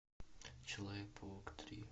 человек паук три